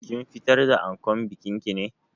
Kin fitar da ankon bikin ki ne?